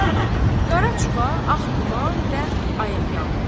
Qara çuxa, ağ duman və ayaqyalın.